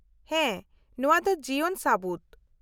-ᱦᱮᱸ, ᱱᱚᱶᱟ ᱫᱚ ᱡᱤᱭᱚᱱ ᱥᱟᱹᱵᱩᱛ ᱾